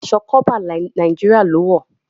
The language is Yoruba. Khaki aṣọ corper Nàìjíríà lọ wọ.